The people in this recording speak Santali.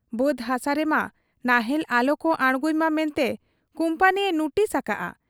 ᱵᱟᱹᱫᱽ ᱦᱟᱥᱟ ᱨᱮᱢᱟ ᱱᱟᱦᱮᱞ ᱟᱞᱚᱠᱚ ᱟᱬᱜᱚᱭᱢᱟ ᱢᱮᱱᱛᱮ ᱠᱩᱢᱯᱟᱹᱱᱤᱭᱮ ᱱᱩᱴᱤᱥ ᱟᱠᱟᱜ ᱟ ᱾